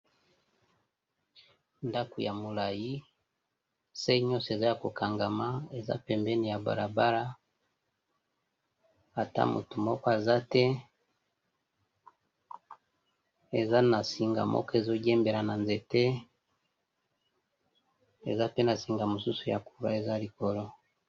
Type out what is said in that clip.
Ndako ya molayi se nyonso eza ya ko kangama, eza pembeni ya balabara ata moto moko aza te, eza na singa moko ezo diembela na nzete , eza pe na singa mosusu eza likolo .